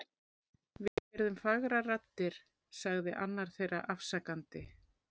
Við heyrðum fagrar raddir sagði annar þeirra afsakandi.